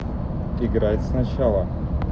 играть сначала